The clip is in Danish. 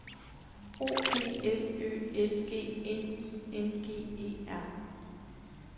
O P F Ø L G N I N G E R